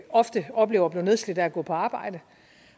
ofte oplever at blive nedslidt af at gå på arbejde